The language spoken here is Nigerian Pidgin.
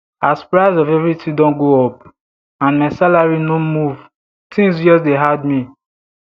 as price of everything don go up and my salary no move tins just dey hard me